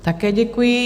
Také děkuji.